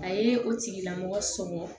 A ye o tigilamɔgɔ sɔrɔ